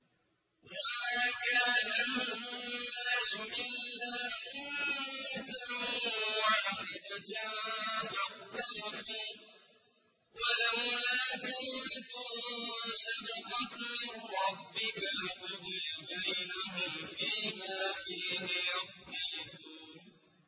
وَمَا كَانَ النَّاسُ إِلَّا أُمَّةً وَاحِدَةً فَاخْتَلَفُوا ۚ وَلَوْلَا كَلِمَةٌ سَبَقَتْ مِن رَّبِّكَ لَقُضِيَ بَيْنَهُمْ فِيمَا فِيهِ يَخْتَلِفُونَ